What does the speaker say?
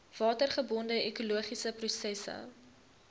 watergebonde ekologiese prosesse